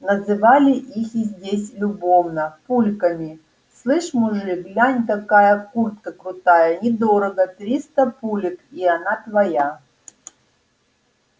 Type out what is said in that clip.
называли их здесь любовно пульками слышь мужик глянь какая куртка крутая недорого триста пулек и она твоя